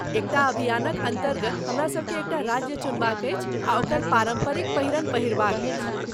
एकटा अभियानक अन्तर्गत हमरासभकेँ एकटा राज्य चुनबाक अछि आ ओकर पारम्परिक पहिरन पहिरबाक अछि।